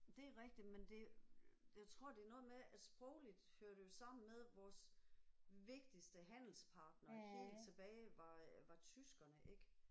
Det er rigtigt men det jeg tror det er noget med at sprogligt hører det jo sammen med at vores vigtigste handelspartnere helt tilbage var øh var tyskerne ik